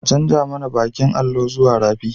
An canja mana bakin allo zuwa fari